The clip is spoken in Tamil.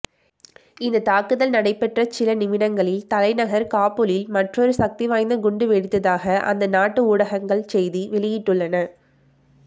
இந்த தாக்குதல் நடைபெற்ற சில நிமிடங்களில் தலைநகர் காபுலில் மற்றொரு சக்திவாய்ந்த குண்டு வெடித்ததாக அந்நாட்டு ஊடகங்கள் செய்தி வெளியிட்டுள்ளன